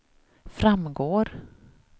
framgår